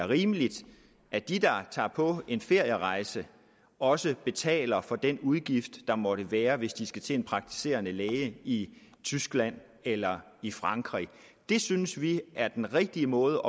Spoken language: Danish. rimeligt at de der tager på en ferierejse også betaler for den udgift der måtte være hvis de skal til en praktiserende læge i tyskland eller i frankrig det synes vi er den rigtige måde